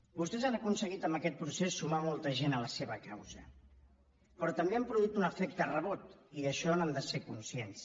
vostès han aconseguit amb aquest procés sumar molta gent a la seva causa però també han produït un efecte rebot i d’això n’han de ser conscients